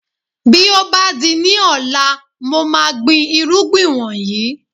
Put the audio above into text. Bí ó bá di ní ọ̀la, mo máa gbin irúgbìn wọ̀nyí